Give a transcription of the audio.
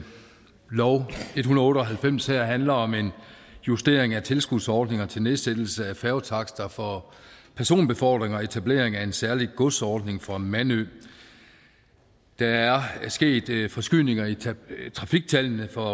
otte og halvfems handler om en justering af tilskudsordninger til nedsættelse af færgetakster for personbefordring og etablering af en særlig godsordning for mandø der er sket forskydninger i trafiktallene for